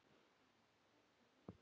En hvað með ríkið?